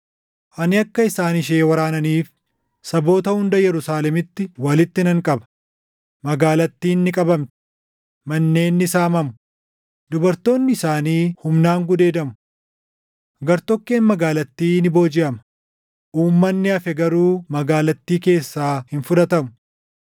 Ani akka isaan ishee waraananiif saboota hunda Yerusaalemitti walitti nan qaba; magaalattiin ni qabamti; manneen ni saamamu; dubartoonni isaanii humnaan gudeedamu. Gartokkeen magaalattii ni boojiʼama; uummanni hafe garuu magaalattii keessaa hin fudhatamu.